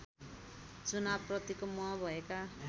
चुनावप्रतिको मोह भएका